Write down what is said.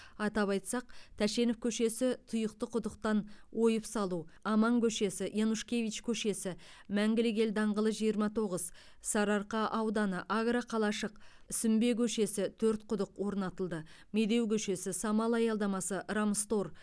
атап айтсақ тәшенов көшесі тұйықты құдықтан ойып салу аман көшесі янушкевич көшесі мәңгілік ел даңғылы жиырма тоғыз сарыарқа ауданы агроқалашық сүмбе көшесі төрт құдық орнатылды медеу көшесі самал аялдамасы рамстор